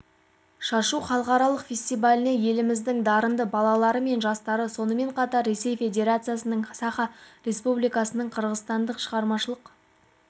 шашу халықаралық фестиваліне еліміздің дарынды балалары және жастары сонымен қатар ресей федерациясының саха республикасының қырғызстанның шығармашылық